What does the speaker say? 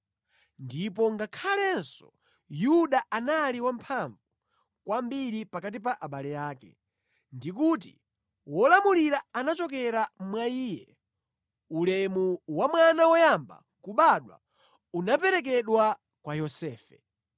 ndipo ngakhalenso Yuda anali wamphamvu kwambiri pakati pa abale ake, ndi kuti wolamulira anachokera mwa iye, ulemu wa mwana woyamba kubadwa unaperekedwa kwa Yosefe)